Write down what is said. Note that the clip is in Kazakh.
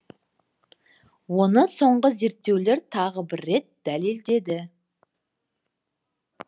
оны соңғы зерттеулер тағы бір рет дәледеді